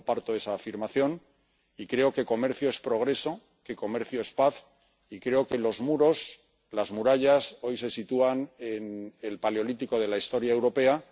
Yo comparto esa afirmación y creo que comercio es progreso, que comercio es paz, y creo que los muros, las murallas, hoy se sitúan en el paleolítico de la historia europea.